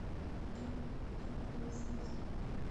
там куда падают звезды